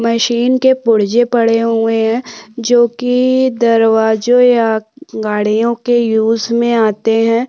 Machine के पुर्जे पड़े हुए है जोकि दरवाजो या गाड़ियो के यूज में आते हैं।